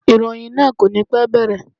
Ìròyìn náà kò ní pẹ́ bẹ̀rẹ̀.